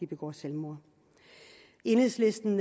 begår selvmord enhedslisten